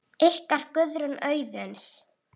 Ykkar, Guðrún Auðuns.